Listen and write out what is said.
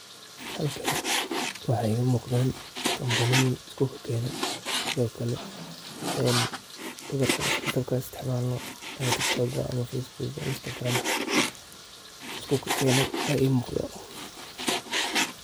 Halkani waiga muqda kabaniya lisku kakene, sithi o kale ehn watsup an istacmalno, Facebook game, Instagram ka, liskukakene aa I muqda.